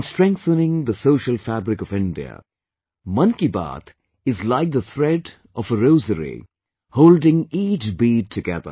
In strengthening the social fabric of India, 'Mann Ki Baat' is like the thread of a rosary, holding each bead together